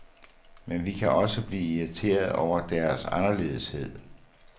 Men vi kan også blive irriteret over deres anderledeshed.